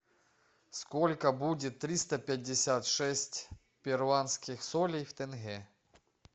сколько будет триста пятьдесят шесть перуанских солей в тенге